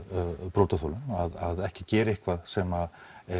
brotaþolum ekki gera eitthvað sem